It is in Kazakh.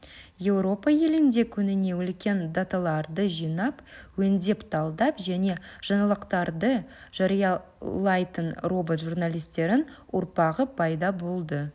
еуропа елінде күніне үлкен даталарды жинап өңдеп талдап және жаңалықтарды жариялайтын робот журналистерің ұрпағы пайда болды